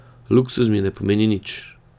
Luksuz mi ne pomeni nič.